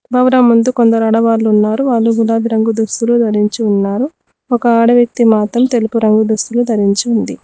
భవనం ముందు కొందరు ఆడవాళ్లు ఉన్నారు వాళ్ళు గులాబి రంగు దుస్తులు ధరించి ఉన్నారు ఒక ఆడ వ్యక్తి మాత్రం తెలుపు రంగు దుస్తులు ధరించి ఉంది